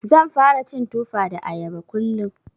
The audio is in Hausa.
Zan fara cin Tufa da Ayaba kullum.